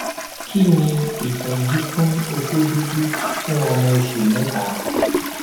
kí ni ìtọjú fún oko dudu fun ọmọ oṣù mẹta